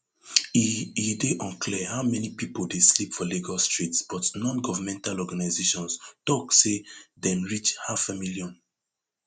e e dey unclear how many pipo dey sleep for lagos streets but nongovernmental organisations tok say dem reach halfamillion